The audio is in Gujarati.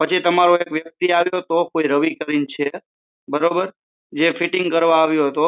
પછી તમારો એક વ્યક્તિ આવ્યો હતો કોઈ રવિ કરીને છે બરોબર જે ફીટીંગ કરવા આવ્યો હતો